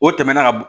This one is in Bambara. O tɛmɛna ka bo